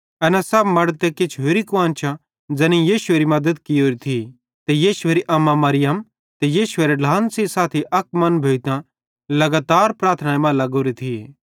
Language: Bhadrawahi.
एना सब मड़द ते किछ होरि कुआन्शां ज़ैनेईं यीशुएरी मद्दत कियोरी थी ते यीशुएरी अम्मा मरियम ते यीशुएरे ढ्लान सेइं साथी अक मन भोइतां लगातार प्रार्थनाई मां लग्गोरे थिये